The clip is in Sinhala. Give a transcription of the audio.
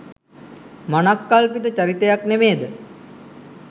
මනක්කල්පිත චරිතයක් නෙමේ ද?